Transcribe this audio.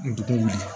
Dugu wuli